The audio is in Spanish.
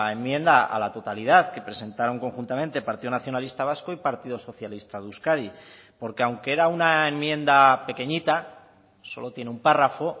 enmienda a la totalidad que presentaron conjuntamente partido nacionalista vasco y partido socialista de euskadi porque aunque era una enmienda pequeñita solo tiene un párrafo